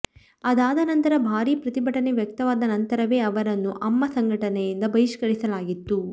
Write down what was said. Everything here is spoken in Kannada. ಅದಾದ ನಂತರ ಭಾರಿ ಪ್ರತಿಭಟನೆ ವ್ಯಕ್ತವಾದ ನಂತರವೇ ಅವರನ್ನು ಅಮ್ಮಾ ಸಂಘಟನೆಯಿಂದ ಬಹಿಷ್ಕರಿಸಲಾಗಿತ್ತು